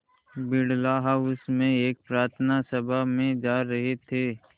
Birla house में एक प्रार्थना सभा में जा रहे थे